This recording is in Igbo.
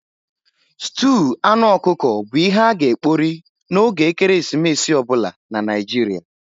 Stúu anụ ọkụkọ bu ihe a-ga ekpori n'oge ekeresimesi obula na Naijiria.